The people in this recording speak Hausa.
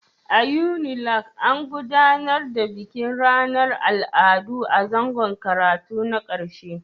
A Unilag, an gudanar da bikin ranar Al'adu a zangon karatu na ƙarshe